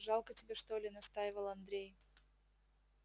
жалко тебе что ли настаивал андрей